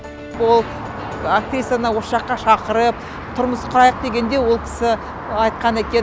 ол актрисаны осы жаққа шақырып тұрмыс құрайық дегенде ол кісі айтқан екен